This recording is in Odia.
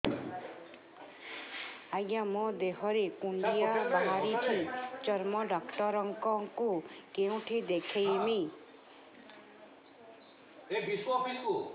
ଆଜ୍ଞା ମୋ ଦେହ ରେ କୁଣ୍ଡିଆ ବାହାରିଛି ଚର୍ମ ଡାକ୍ତର ଙ୍କୁ କେଉଁଠି ଦେଖେଇମି